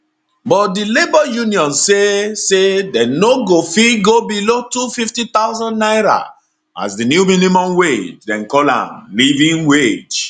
but di labour unions say say dey no go fit go below 250000 naira as di new minimum wage dem call am living wage